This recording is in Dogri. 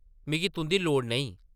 मिगी तुंʼदी लोड़ नेईं ।